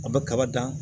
A bɛ kaba dan